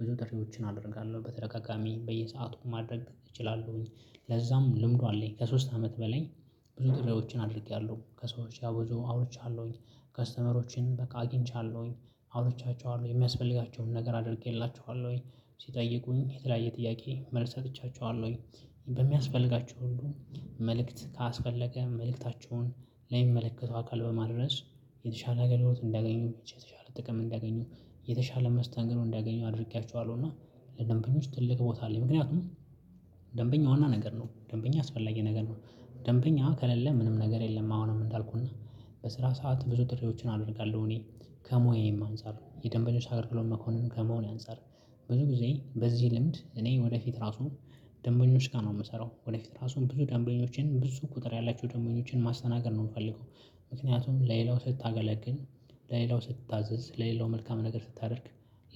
ብዙ ጥሪዎችን አደርጋለሁ በተደጋጋሚ በየሰአቱ ማድረግ እችላለሁኝ። ለዛም ልምዱ አለኝ ከሶስት አመት በላይ። ብዙ ጥሪዎችን አድርጌያለሁ ከሰዎች ብዙ አውርቻለሁኝ። ከስተመሮችን በቃ አግኝቻለሁኝ አውርቻቸዋለሁ የሚያስፈልጋቸውን ነገር አድርጌላቸዋለሁኝ። ሲጠይቁኝ የተለያየ ጥያቄ መልስ ሰጥቻቸዋለሁኝ። በሚያስፈልጋቸው ሁሉ መልእክት ካስፈለገ መልእክታቸውን ለሚመለከቱ አካል በማድረስ የተሻለ አገልግሎት እንዲያገኙ የተሻለ ጥቅም እንዲያገኙ የተሻለ መስተንግረን እንዲያገኙ አድርጌያቸዋለሁ እና። ለደንበኞች ትልቅ ቦታ አለኝ ምክንያቱም ደንበኛ ዋና ነገር ነው ደንበኛ አስፈላጊ ነገር ነው። ደንበኛ ከሌለ ምንም ነገር የለም። አሁንም እንዳልኩህና በስራ ሰዓት ብዙ ጥሪዎችን አደርጋለሁ። እኔ ከሞያየም አንፃር የደንበኛ አገልግሎት መኮንን ከመሆኔ አንፃር ብዙ ጊዜ በዚህ ልምድ እኔ ወደፊት ራሱ ደንበኞች ጋር ነው የምሰራው ወደፊት ራሱን ብዙ ደንበኞችን ብዙ ቁጥር ያላቸው ደንበኞችን ማስተናገድ ነው የምፈልገው። ምክንያቱም ለሌላው ስታገለግል ለሌላው ስትታዘዝ ለሌላው መልካም ነገር ስታደርግ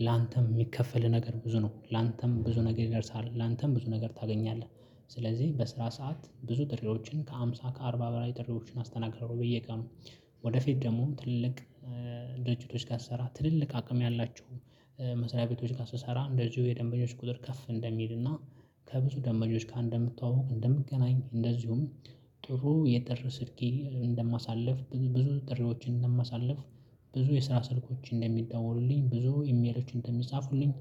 ላንተም የሚከፈልህ ነገር ብዙ ነው ላንተም ብዙ ነገር ይደርሳል ላንተም ብዙ ነገር ታገኛለህ። ስለዚህ በስራ ሰዓት ብዙ ጥሪዎችን ከሃምሳ ከአርባ በላይ ጥሪዎችን አስተናግዳለሁ በየቀኑ። ወደፊት ደግሞ ትልልቅ ድርጅቶች ጋር ስሰራ ትልልቅ አቅም ያላቸው መስሪያ ቤቶች ጋር ስሰራ እንደዚሁ የደንበኞች ቁጥር ከፍ እንደሚልና። ከብዙ ደንበኞች ጋር እንደምተቃወቅ እንደምገናኝ እንደዚሁም ጥሩ የጥር ስልኬ እንደማሳልፍ ብዙ ጥሪዎችን እንደማሳልፍ ብዙ የስራ ስልኮች እንደሚደወሉልኝ ብዙ ኢሜሎች እንደሚጻፉልኝ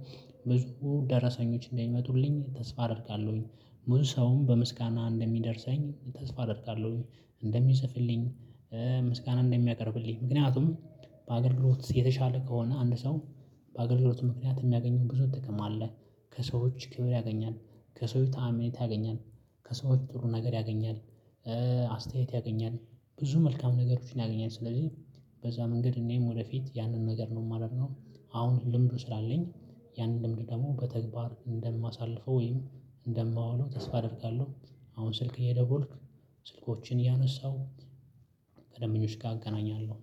ብዙ ደረሰኞች እንደሚመጡልኝ ተስፋ አደርጋለሁኝ። ብዙ ሰውም በምስጋና እንደሚደርሰኝ ተስፋ አደርጋለሁኝ። እንደሚፅፍልኝ ምስጋና እንደሚያቀርብልኝ ምክንያቱም በአገልግሎት የተሻለ ከሆነ አንድ ሰው በአገልግሎት ምክንያት የሚያገኘው ብዙ ጥቅም አለ። ከሰዎች ክብር ያገኛል። ከሰዎች አመኔታ ያገኛል። ከሰዎች ጥሩ ነገር ያገኛል። አስተያየት ያገኛል ብዙ መልካም ነገሮችን ያገኛል ስለዚህ። በዛ መንገድ እኔም ወደፊት ያንን ነገር ነው የማደርገው። አሁን ልምዱ ስላለኝ ያንን ልምድ ደግሞ በተግባር እንደማሳልፈው ወይም እንደማዋውለው ተስፋ አደርጋለሁ። አሁን ስልክ እየደወልኩ ስልኮችን እያነሳሁ ከደንበኞች ጋር አገናኛለሁ